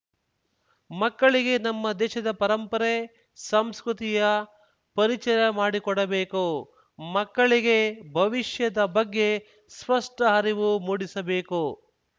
ಮಕ್ಕಳಿಗೆ ನಮ್ಮ ದೇಶದ ಪರಂಪರೆ ಸಂಸ್ಕೃತಿಯ ಪರಿಚಯ ಮಾಡಿಕೊಡಬೇಕು ಮಕ್ಕಳಿಗೆ ಭವಿಷ್ಯದ ಬಗ್ಗೆ ಸ್ಪಷ್ಟಅರಿವು ಮೂಡಿಸಬೇಕು